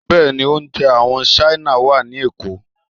Bẹ́ẹ̀ni, oúnjẹ àwọn Ṣáínà wà ní Èkó.